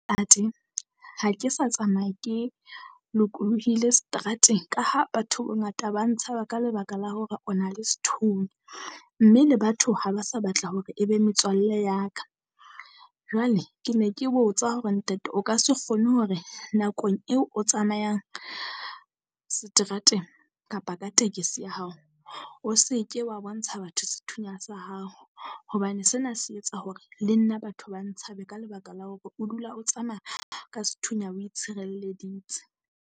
Ntate, ha ke sa tsamaya ke lokolohile seterateng ka ha batho ba bangata ba ntshaba ka lebaka la hore o na le sethunya. Mme le batho ha ba sa batla hore e be metswalle ya ka. Jwale ke ne ke botsa hore ntate o ka se kgone hore nakong eo o tsamayang seterateng kapa ka tekesi ya hao, o se ke wa bontsha batho sethunya sa hao, hobane sena se etsa hore le nna batho ba ntshabe ka lebaka la hore o dula o tsamaya ka sethunya o itshireleditse.